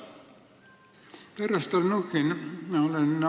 Härra Stalnuhhin!